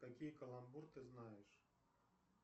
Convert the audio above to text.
какие каламбур ты знаешь